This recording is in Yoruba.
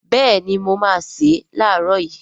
Béèni mo máá se lààrọ̀ yii